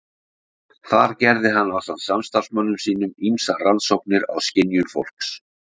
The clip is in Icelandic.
Þar gerði hann ásamt samstarfsmönnum sínum ýmsar rannsóknir á skynjun fólks.